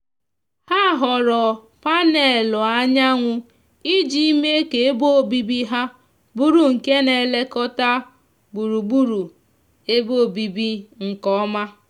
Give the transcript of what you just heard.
ha họọrọ panęlụ anyanwu iji mee ka ebe obibi ha bụrụ nke na elekota gburugburu ebe obibi nke oma